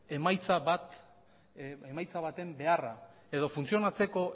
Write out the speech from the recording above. emaitza baten beharra edo funtzionatzeko